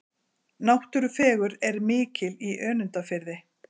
Náttúrufegurð er mikil í Önundarfirði.